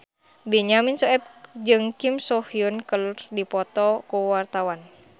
Benyamin Sueb jeung Kim So Hyun keur dipoto ku wartawan